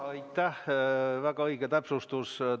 Aitäh, väga õige täpsustus!